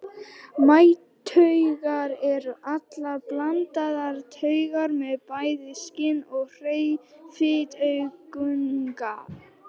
Mænutaugar eru allar blandaðar taugar með bæði skyn- og hreyfitaugunga.